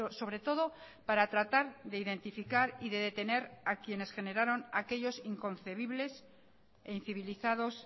sobre todo para tratar de identificar y de detener a quienes generaron aquellos inconcebibles e incivilizados